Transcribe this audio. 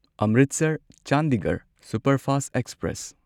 Amritsar Chandigarh superfast express